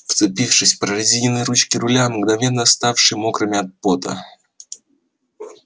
вцепившись в прорезиненные ручки руля мгновенно ставшие мокрыми от пота